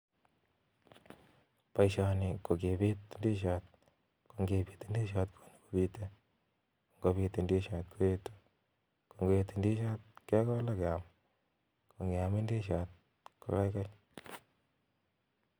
Boishoni ko kipiit ndisiot. Ngopit ndision kekole ak keam. Nngeam ndisiot kokararan.